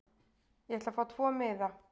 Ég ætla að fá tvo miða.